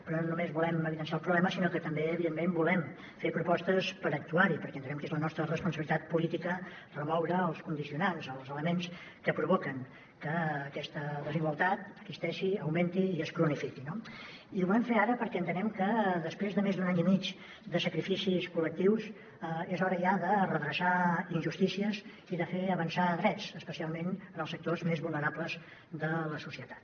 però no només volem evidenciar el problema sinó que també evidentment volem fer propostes per actuar hi perquè entenem que és la nostra responsabilitat política remoure els condicionants els elements que provoquen que aquesta desigualtat existeixi augmenti i es cronifiqui no i ho volem fer ara perquè entenem que després de més d’un any i mig de sacrificis col·lectius és hora ja de redreçar injustícies i de fer avançar drets especialment en els sectors més vulnerables de la societat